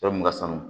Yɔrɔ mun ka surun